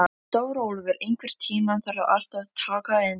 Stórólfur, einhvern tímann þarf allt að taka enda.